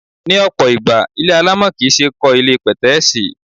Ní ọ̀pọ̀ ìgbà, ilé alámọ̀ kì ń ṣe é kó ilé pẹ̀tẹ́ẹ̀sì.